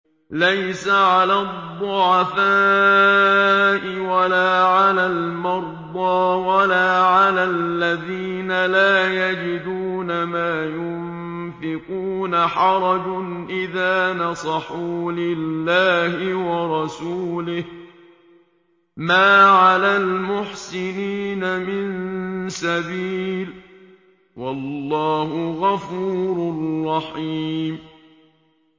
لَّيْسَ عَلَى الضُّعَفَاءِ وَلَا عَلَى الْمَرْضَىٰ وَلَا عَلَى الَّذِينَ لَا يَجِدُونَ مَا يُنفِقُونَ حَرَجٌ إِذَا نَصَحُوا لِلَّهِ وَرَسُولِهِ ۚ مَا عَلَى الْمُحْسِنِينَ مِن سَبِيلٍ ۚ وَاللَّهُ غَفُورٌ رَّحِيمٌ